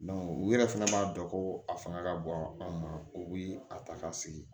u yɛrɛ fana b'a dɔn ko a fanga ka bon an ma o bɛ a ta ka sigi